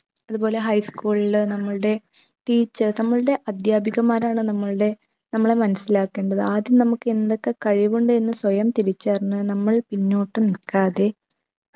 അത്പോലെ high school ല് നമ്മൾടെ teachers നമ്മൾടെ അധ്യാപികമാരാണ് നമ്മൾടെ നമ്മളെ മനസിലാക്കേണ്ടത് ആദ്യം നമുക്ക് എന്തൊക്കെ കഴിവുണ്ട് എന്ന് സ്വയം തിരിച്ചറിഞ്ഞു നമ്മൾ പിന്നോട്ട് നിക്കാതെ